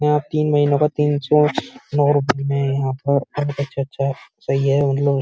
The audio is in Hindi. यहाँ पर तीन महीना का तीनसों नौ रुपये में यहाँ पर अच्छा-अच्छा सही ही मतलब --